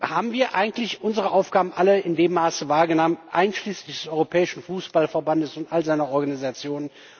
Haben wir eigentlich unsere Aufgaben alle in dem Maße wahrgenommen, einschließlich des Europäischen Fußballverbands und all seiner Organisationen?